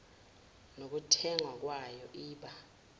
nokuthengwa kwayo iba